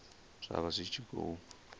zwa vha zwi tshi khou